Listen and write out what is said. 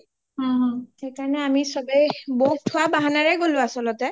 সেই কাৰণেই আমি চ’বেই গ’লো বৌওক থোৱাৰ বাহানাৰেই আচলতে